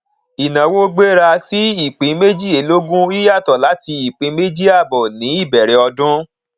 ìnáwó gbéra sí ìpín méjìlélógún yíyàtọ láti ìpín méjì àbọ ní ìbẹrẹ ọdún